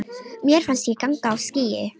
Mér fannst ég ganga á skýi.